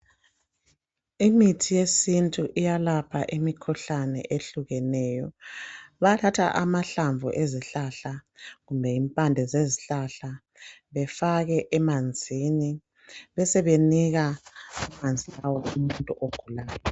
Imithi yesintu iyalapha imikhuhlane ehlukeneyo. Bayathatha amahlamvu ezihlahla kumbe impande zezihlahla befake emanzini besebenika amanzi lawa umuntu ogulayo.